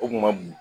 O kun ma bon